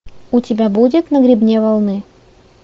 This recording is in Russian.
у тебя будет на гребне волны